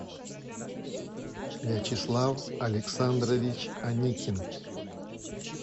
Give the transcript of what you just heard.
вячеслав александрович аникин